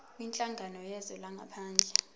kwinhlangano yezwe langaphandle